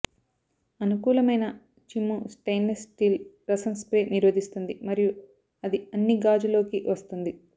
అనుకూలమైన చిమ్ము stainless steel రసం స్ప్రే నిరోధిస్తుంది మరియు అది అన్ని గాజు లోకి వస్తుంది